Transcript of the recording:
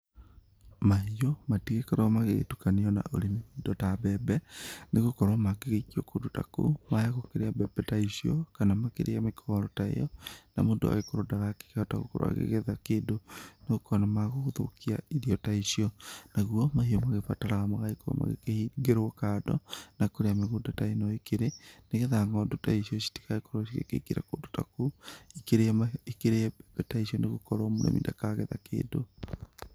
Mahiũ matigĩkorwo magĩgĩtukanĩo na urĩmi, indo ta mbembe nĩgũkorwo mangĩgĩikio kũndũ ta kũu, magũgĩkĩrĩa mbembe ta icio kana makĩrĩe mĩkohoro ta ĩo, na mũndũ agagĩkorwo ndagakĩkĩhota gũkorwo agĩgĩetha kĩndũ no ukona magũgũthũkia irio ta icio. Naguo, mahiũ magĩbataraga magĩkorwo magĩkĩhingĩrwo kando, na kũrĩa mĩgunda ta ĩno ĩkĩrĩ, nĩgetha ng'ondu ta icio citigagĩkorwo cigĩkĩingĩra kũndũ ta kũu, ikĩrĩe, ikĩrĩe mbembe ta icio nĩ gũkorwo mũrĩmi ndakagetha kĩndũ.